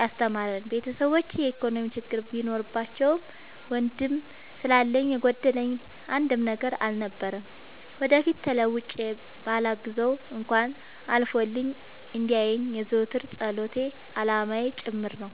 ያስተማረን ቤተሰቦቼ የኢኮኖሚ ችግር ቢኖርባቸውም ወንድም ስላለኝ የጎደለብኝ አንድም ነገር አልነበረም። ወደፊት ተለውጬ በላግዘው እንኳን አልፎልኝ እንዲየኝ የዘወትር ፀሎቴ አላማዬም ጭምር ነው።